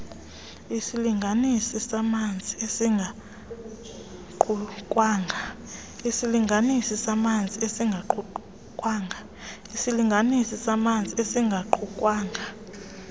isilinganisi samanzi esingaqukwanga